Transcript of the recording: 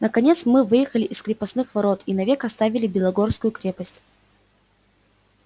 наконец мы выехали из крепостных ворот и навек оставили белогорскую крепость